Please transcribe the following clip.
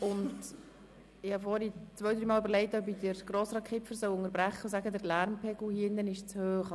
Vorhin habe ich einige Male überlegt, Grossrat Kipfer zu unterbrechen, weil der Lärmpegel in diesem Saal eindeutig zu hoch ist.